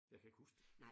Jeg kan ikke huske det